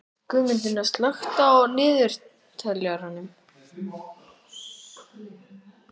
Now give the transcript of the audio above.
Guðmundína, slökktu á niðurteljaranum.